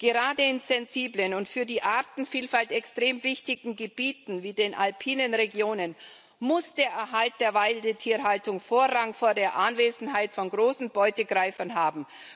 Gerade in sensiblen und für die Artenvielfalt extrem wichtigen Gebieten, wie den alpinen Regionen, muss der Erhalt der Weidetierhaltung Vorrang vor der Anwesenheit von großen Beutegreifern haben.